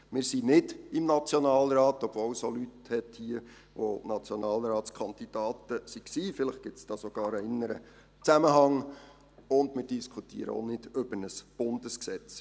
Wir sind nicht im Nationalrat, obwohl es auch Leute hier drin hat, die Nationalratskandidaten waren – vielleicht gibt es sogar einen inneren Zusammenhang –, und wir diskutieren auch nicht über ein Bundesgesetz.